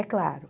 É claro.